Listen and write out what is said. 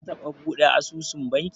Ka taɓa buɗe asusun banki?